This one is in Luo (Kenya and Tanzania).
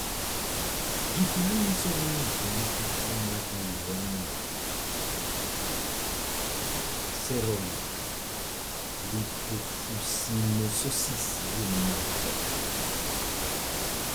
Gik manyiso ni ng'ato nigi tuo mar Neuronal ceroid lipofuscinosis gin mage?